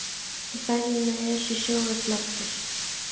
Í ferðum með Esju sjóuðust margir.